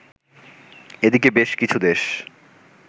এদিকে বেশ কিছু দেশ